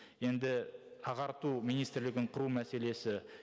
енді ағарту министрлігін құру мәселесі